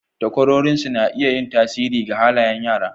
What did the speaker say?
Takwarorinsu na iya yin tasiri ga halayen yara.